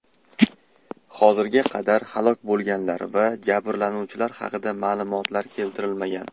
Hozirga qadar halok bo‘lganlar va jabrlanuvchilar haqida ma’lumotlar keltirilmagan.